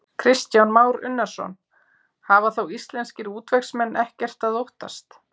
Kristján Már Unnarsson: Hafa þá íslenskir útvegsmenn ekkert að óttast?